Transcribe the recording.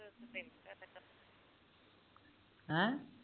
ਹੈ